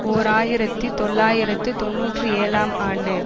ஓர் ஆயிரத்தி தொள்ளாயிரத்து தொன்னூற்றி ஏழாம் ஆண்டு